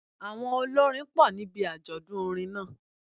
Àwọn olórin pọ̀ níbi àjọ̀dún orin náà